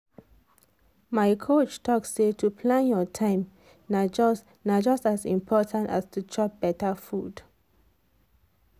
my coach talk say to plan your time na just na just as important as to chop better food.